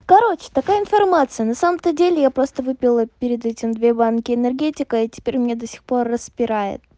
короче такая информация на самом-то деле я просто выпила перед этим две банки энергетика и теперь мне до сих пор распирает